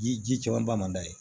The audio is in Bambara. Ji ji cɛman ba man d'a ye